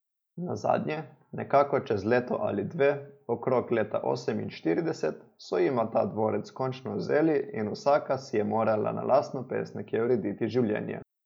Nazadnje, nekako čez leto ali dve, okrog leta oseminštirideset, so jima ta dvorec končno vzeli in vsaka si je morala na lastno pest nekje urediti življenje.